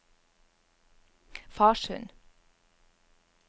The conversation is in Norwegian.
Farsund